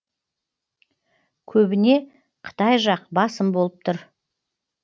көбіне қытай жақ басым болып тұр